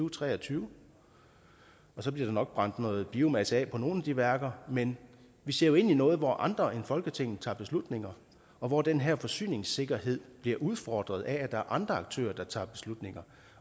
og tre og tyve og så bliver der nok brændt noget biomasse af på nogle af de værker men vi ser jo ind i noget hvor andre end folketinget tager beslutninger og hvor den her forsyningssikkerhed bliver udfordret af at der er andre aktører der tager beslutninger